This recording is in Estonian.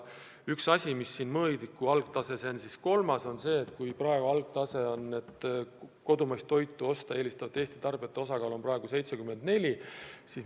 Üks mõõdik on ka see, et kodumaist toitu osta eelistavate Eesti tarbijate osakaal on praegu 74%.